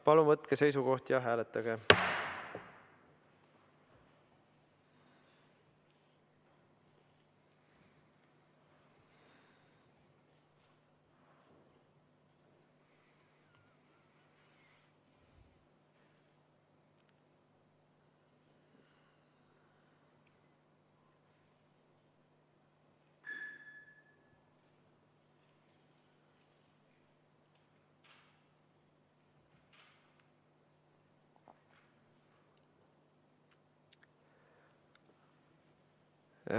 Palun võtke seisukoht ja hääletage!